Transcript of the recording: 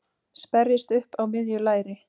sperrist upp á miðju læri.